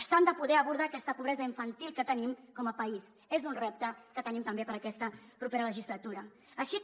s’ha de poder abordar aquesta pobresa infantil que tenim com a país és un repte que tenim també per a aquesta propera legislatura així com